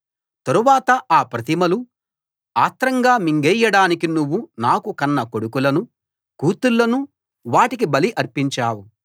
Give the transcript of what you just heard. తరువాత ఆ ప్రతిమలు ఆత్రంగా మింగేయడానికి నువ్వు నాకు కన్న కొడుకులను కూతుళ్ళను వాటికి బలి అర్పించావు